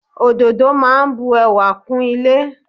Ododo máa bu ẹwà kún ilé.